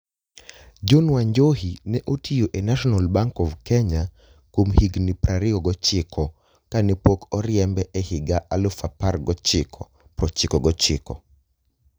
John Wanjohi ne otiyo e National Bank of Kenya kuom higini 29 kane pok oriembe e higa 1999.